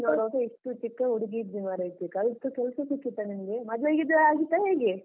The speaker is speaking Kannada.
ನಿನ್ನೆ ನೋಡ್ವಾಗ ಇಷ್ಟು ಚಿಕ್ಕ ಹುಡುಗಿ ಇದ್ದಿ ಮಾರೈತಿ, ಕಲ್ತು ಕೆಲ್ಸ ಸಿಕ್ಕಿತ ನಿಂಗೆ ಮದ್ವೆ ಗಿದ್ವೆ ಆಗಿದಾ ಹೇಗೆ?